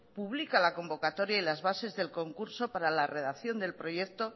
publica la convocatoria y las bases del concurso para la redacción del proyecto